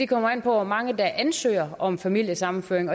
kommer an på hvor mange der ansøger om familiesammenføring